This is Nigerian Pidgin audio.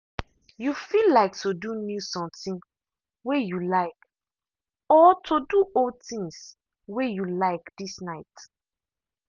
you feel like to do new something way you like or to do old things way you like this night.